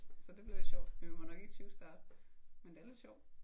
Så det bliver lidt sjovt. Men vi må jo nok ikke tyvstarte. Men det er lidt sjovt